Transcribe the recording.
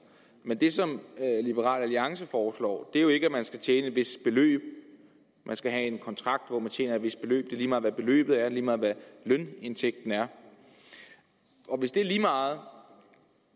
men det som liberal alliance foreslår er jo ikke at man skal tjene et vist beløb man skal have en kontrakt hvor man tjener et vist beløb lige meget hvad beløbet er lige meget hvad lønindtægten er og hvis det er lige meget